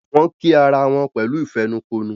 Wón kí àrà wón pẹ̀lú ìfẹnukonu.